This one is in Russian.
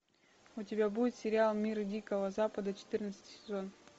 у тебя будет сериал мир дикого запада четырнадцатый сезон